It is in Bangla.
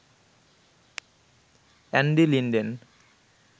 Andy Linden